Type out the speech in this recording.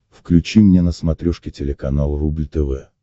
включи мне на смотрешке телеканал рубль тв